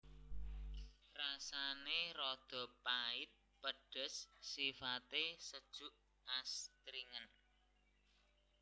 Rasane rada pait pedes sifate sejuk astringen